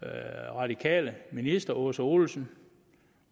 radikale minister aase olesen